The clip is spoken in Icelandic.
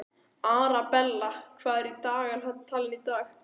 Arabella, hvað er í dagatalinu í dag?